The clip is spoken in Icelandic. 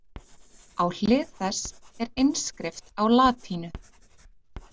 Á hlið þess er innskrift á latínu.